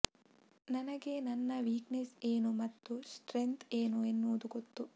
ನನಗೆ ನನ್ನ ವೀಕ್ನೆಸ್ ಏನು ಮತ್ತು ಸ್ಟ್ರೆಗ್ತ್ ಏನು ಎನ್ನುವುದು ಗೊತ್ತು